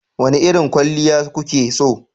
Wane irin kwalliya kuke so?